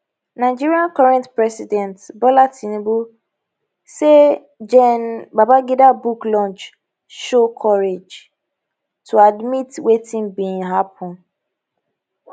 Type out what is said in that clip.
nigeria current president bola tinubu say gen babangida book launch show courage to admit wetin bin happun